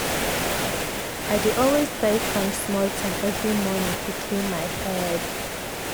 i dey always try find small time every morning to clear my head.